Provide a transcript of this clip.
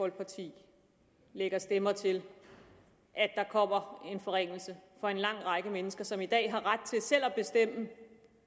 folkeparti lægger stemmer til at der kommer en forringelse for en lang række mennesker som i dag har ret til selv at bestemme